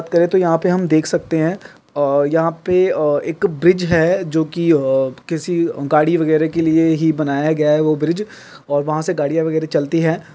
करे तो यहा पे हम देख सकते है और यहा पे एक ब्रिज है जो की अ किसी गाड़ी वगैरे के लिए ही बनाया गया है वो ब्रिज और वहा से गड़िया वगैरा चलती है।